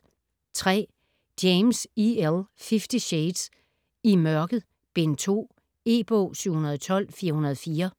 James, E. L.: Fifty shades: I mørket: Bind 2 E-bog 712404